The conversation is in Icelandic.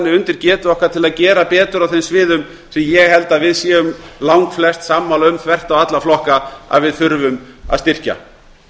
undir getu okkar til að gera betur á þeim sviðum sem ég held að við séum langflest sammála um þvert á alla flokka að við þurfum að styrkja